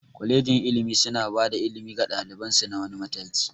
Kwalegin ilimi suna bada ilimi ga ɗaliban su na wani mataki